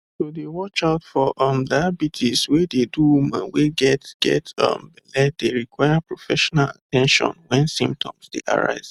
to dey watch out for um diabetes wey dey do woman wey get get um belle dey require professional at ten tion wen symptoms dey arise